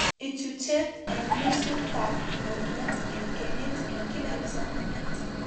Ichuchuchet eng nusut ab nyorunet eng kenyit eng kila kipsomaniat